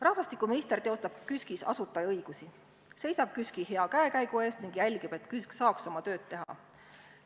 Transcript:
Rahvastikuminister teostab KÜSK-is asutajaõigusi, seisab KÜSK-i hea käekäigu eest ning jälgib, et KÜSK saaks oma tööd teha.